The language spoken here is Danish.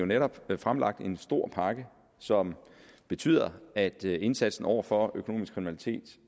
netop fremlagt en stor pakke som betyder at indsatsen over for økonomisk kriminalitet